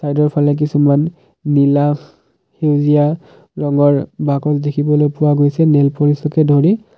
চাইডৰ ফালে কিছুমান নীলা ফু সেউজীয়া ৰঙৰ বাকচ দেখিবলৈ পোৱা গৈছে নেইলপলিছকে ধৰি।